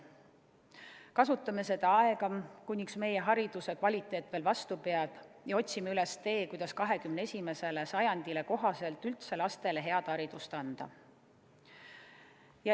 Kasutame seda aega, kuniks meie hariduse kvaliteet veel vastu peab, ja otsime üles tee, kuidas 21. sajandile kohaselt lastele head haridust anda.